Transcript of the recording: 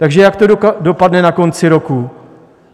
Takže jak to dopadne na konci roku?